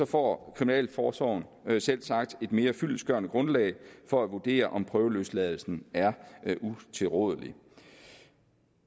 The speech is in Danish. får kriminalforsorgen selvsagt et mere fyldestgørende grundlag for at vurdere om prøveløsladelsen er utilrådelig